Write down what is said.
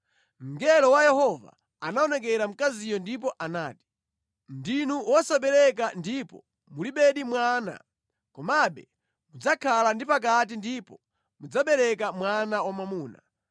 Mngelo wa Yehova anaonekera mkaziyo ndipo anati, “Ndinu wosabereka ndipo mulibedi mwana, komabe mudzakhala ndi pakati ndipo mudzabereka mwana wamwamuna.